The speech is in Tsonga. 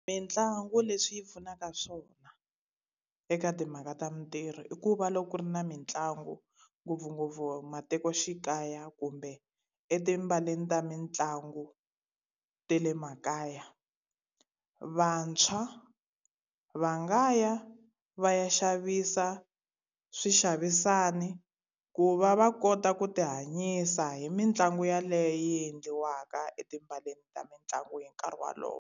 Mintlangu leswi pfunaka swona eka timhaka ta mintirho i ku va loko ku ri na mitlangu ngopfungopfu matikoxikaya kumbe etipaleni ta mitlangu ta le makaya, vantshwa va nga ya va ya xavisa swixavisani ku va va kota ku ti hanyisa hi mitlangu yaleyo yi endliwaka etipaleni ta mitlangu hi nkarhi walowo.